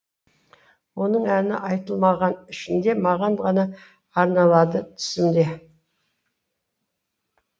оның әні айтылмаған ішінде маған ғана арналады түсімде